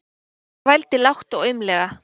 Rósa vældi lágt og aumlega.